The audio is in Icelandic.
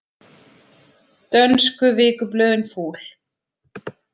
Dönsku vikublöðin fúl